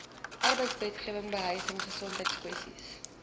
arbeidswetgewing behuising gesondheidskwessies